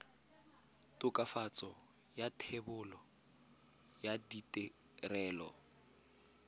tokafatso ya thebolo ya ditirelo